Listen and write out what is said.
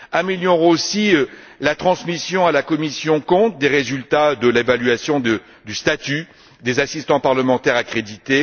Améliorons aussi la transmission, à la commission CONT, des résultats de l'évaluation du statut des assistants parlementaires accrédités.